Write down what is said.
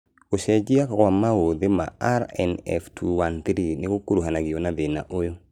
Gũcenjia gwa maũthĩ ma RNF213 nĩgũkuruhanagio na thĩna ũyũ